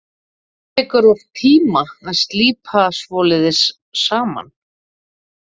Það tekur oft tíma að slípa svoleiðis saman.